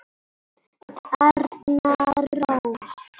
Arna Rós.